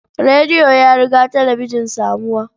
Radio ya riga talabijin samuwa.